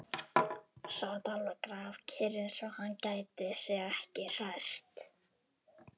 Sat alveg grafkyrr, eins og hann gæti sig ekki hrært.